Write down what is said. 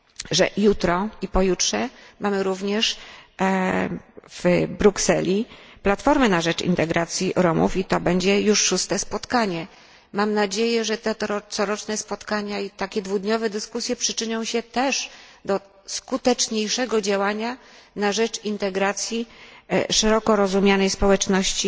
to, że jutro i pojutrze mamy również w Brukseli spotkanie Europejskiej Platformy na rzecz Integracji Romów i to będzie już szóste spotkanie. Mam nadzieję, że te coroczne spotkania i takie dwudniowe dyskusje również przyczynią się do skuteczniejszego działania na rzecz integracji szeroko rozumianej społeczności